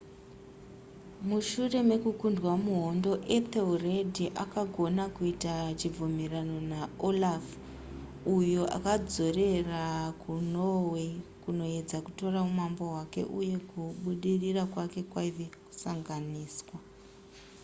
mushure mekukundwa muhondo ethelred akagona kuita chibvumirano naolaf uyo akadzokera kunorway kunoedza kutora umambo hwake uye kubudirira kwake kwaiva musanganiswa